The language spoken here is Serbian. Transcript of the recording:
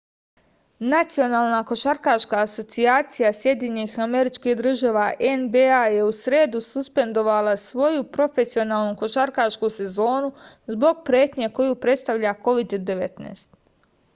национална кошаркашка асоцијација сједињених америчких држава нба је у среду суспендовала своју професионалну кошаркашку сезону због претње коју представља covid-19